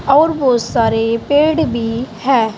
और बहुत सारे पेड़ भी हैं।